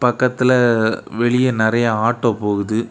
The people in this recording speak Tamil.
பக்கத்துல வெளியே நறைய ஆட்டோ போகுது.